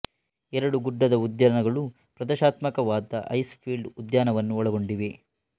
ಎರಡು ಗುಡ್ಡದ ಉದ್ಯಾನಗಳು ಪ್ರದರ್ಶಾತ್ಮಕವಾದ ಐಸ್ ಫೀಲ್ಡ್ ಉದ್ಯಾನವನ್ನು ಒಳಗೊಂಡಿವೆ